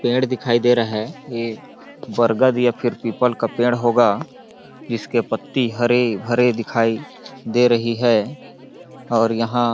पेड़ दिखाई दे रहा है ये बरगद या फिर पीपल का पेड़ होगा जिसकी पत्ती हरी-भरी दिखाई दे रही हैं और यहाँ--